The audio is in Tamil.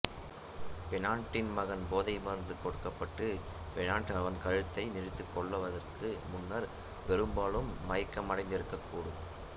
பெனாய்டின் மகன் போதை மருந்து கொடுக்கப்பட்டு பெனாய்ட் அவன் கழுத்தை நெறித்துக் கொல்வதற்கு முன்னர் பெரும்பாலும் மயக்கமடைந்திருக்கக்கூடும்